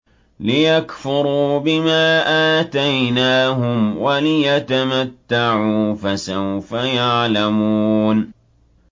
لِيَكْفُرُوا بِمَا آتَيْنَاهُمْ وَلِيَتَمَتَّعُوا ۖ فَسَوْفَ يَعْلَمُونَ